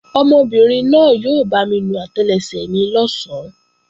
Ọmọbìnrin náà yóò bámi nu àtẹlẹsẹ̀ mi lọ̀sán